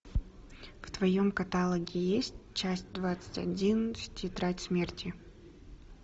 в твоем каталоге есть часть двадцать один тетрадь смерти